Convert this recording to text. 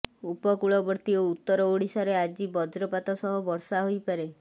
ଉପକୂଳବର୍ତ୍ତୀ ଓ ଉତ୍ତର ଓଡ଼ିଶାରେ ଆଜି ବଜ୍ରପାତ ସହ ବର୍ଷା ହୋଇପାରେ